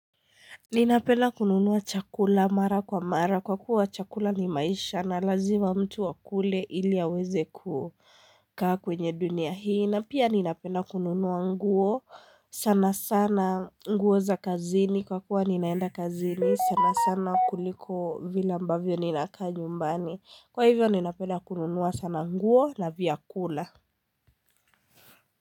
Ninapenda kununua chakula mara kwa mara kwa kuwa chakula ni maisha na lazima mtu akule ili aweze ku kaa kwenye dunia hii na pia ninapenda kununua nguo sana sana nguo za kazini kwa kuwa ninaenda kazini sana sana kuliko vile ambavyo ninakaa nyumbani. Kwa hivyo ninapenda kununua sana nguo na vyakula.